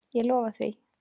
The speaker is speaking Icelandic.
Ég lofa því!